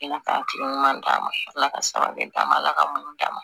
ɲuman d'a ma ala ka sabali d'a ma ala ka munnu d'a ma